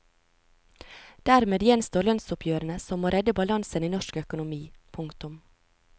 Dermed gjenstår lønnsoppgjørene som må redde balansen i norsk økonomi. punktum